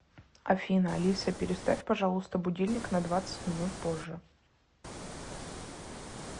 афина алиса переставь пожалуйста будильник на двадцать минут позже